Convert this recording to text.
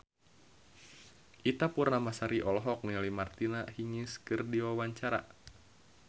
Ita Purnamasari olohok ningali Martina Hingis keur diwawancara